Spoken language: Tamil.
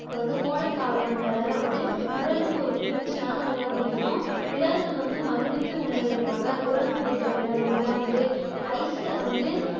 அப்புறம் வந்து கோடைக்காலம் என்பதால வந்து உடலுக்கு ஒரு குளிர்ச்சியான உணவுகளையும் விலங்குகள் வந்து மகிழ்வித்து உண்பதற்காக குரங்கு உள்ளிட்ட விலங்குகளுக்கெல்லாம் வந்து ஐஸ்ல வந்து